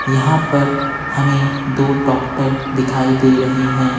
यहां पर हमें दो डॉक्टर दिखाई दे रहे हैं।